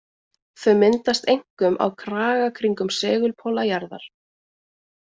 Þau myndast einkum á kraga kringum segulpóla jarðar.